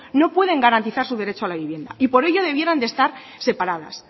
no pueden garantizar su derecho a la vivienda y por ello debieran de estar separadas